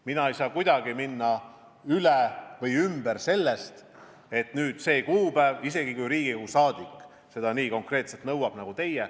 Ma ei saa sellest kuidagi üle või ümber minna, isegi kui Riigikogu saadik seda kuupäeva nii konkreetselt nõuab nagu teie.